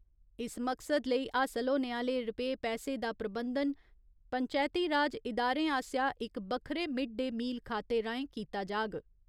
इस मकसद लेई हासल होने आह्‌ले रपे पैसे दा प्रबंधन पंचैती राज इदारें आसेआ इक बक्खरे मिड डे मील खाते राहें कीता जाग।